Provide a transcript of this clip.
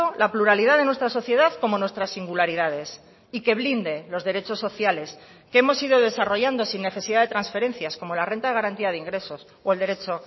la pluralidad de nuestra sociedad como nuestras singularidades y que blinde los derechos sociales que hemos ido desarrollando sin necesidad de transferencias como la renta de garantía de ingresos o el derecho